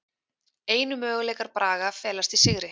Einu möguleikar Braga felast í sigri